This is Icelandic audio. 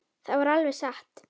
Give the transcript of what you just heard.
Það var alveg satt.